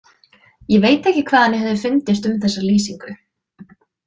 Ég veit ekki hvað henni hefði fundist um þessa lýsingu.